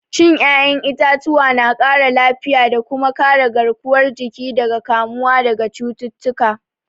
Cin 'ya'yan itatuwa na ƙara lafiya da kuma kare garkuwar jiki daga kamuwa daga cututtuka.